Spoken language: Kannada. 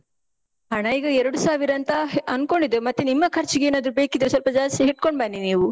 ಹಣ ಈಗ ಎರ್ಡು ಸಾವಿರ ಅಂತ ಅನ್ಕೊಂಡಿದ್ದೇವೆ. ಮತ್ತೆ ನಿಮ್ಮ ಖರ್ಚಿಗೇನಾದ್ರು ಬೇಕಿದ್ರೆ ಸ್ವಲ್ಪ ಜಾಸ್ತಿ ಹಿಡ್ಕೊಂಡ್ ಬನ್ನಿ ನೀವು.